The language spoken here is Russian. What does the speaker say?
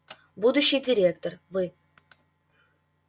будущий директор вы